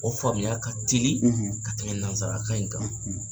O faamuya ka teli, ,ka tɛmɛ nanzarakan in kan,